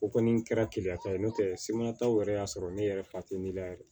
O kɔni kɛra keleya ta ye n'o tɛ semataw yɛrɛ y'a sɔrɔ ne yɛrɛ fa tɛ ne la yɛrɛ